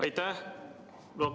Aitäh!